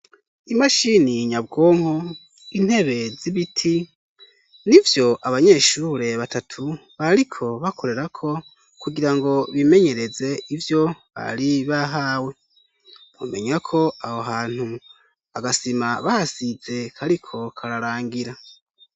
Imashini nyabwonko, intebe z'ibiti nivyo abanyeshure batatu bariko bakorerako kugira ngo bimenyereze ivyo bari bahawe. Bamenya ko aho hantu agasima bahasize kariko kararangira.